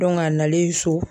a nalen so